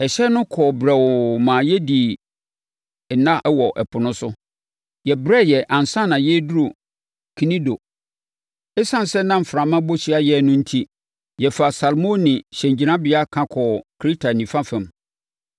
Ɛhyɛn no kɔɔ brɛoo maa yɛdii nna wɔ ɛpo no so. Yɛbrɛeɛ ansa na yɛreduru Knido. Esiane sɛ na mframa bɔ hyia yɛn no enti, yɛfaa Salmoni hyɛngyinabea ka kɔɔ Kreta nifa fam.